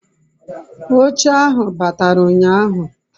oche ahu batara unyahu